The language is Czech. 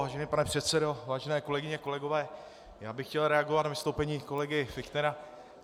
Vážený pane předsedo, vážené kolegyně, kolegové, já bych chtěl reagovat na vystoupení kolegy Fichtnera.